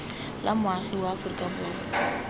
la moagi wa aforika borwa